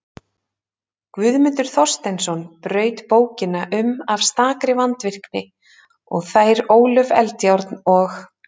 Guðmundur Þorsteinsson braut bókina um af stakri vandvirkni og þær Ólöf Eldjárn og